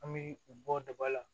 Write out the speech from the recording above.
An bɛ u bɔ daba la